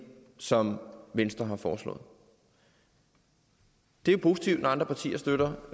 som venstre har foreslået det er positivt når andre partier støtter